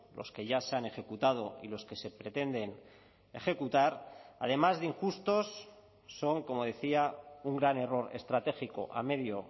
los que ya se han ejecutado y los que se pretenden ejecutar además de injustos son como decía un gran error estratégico a medio